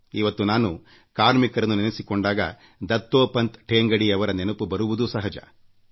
ಇವತ್ತು ನಾನು ಕಾರ್ಮಿಕರನ್ನು ನೆನಸಿಕೊಂಡಾಗ ದತ್ತೋಪಂತ್ ಠೇಂಗಡಿರವರ ನೆನಪು ಬರುವುದೂ ಸಹಜ